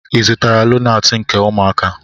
Ị zụtara lonaatị nke ụmụaka?